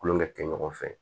Kulonkɛ kɛ kɛ ɲɔgɔn fɛ